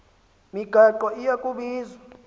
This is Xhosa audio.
migaqo iya kubizwa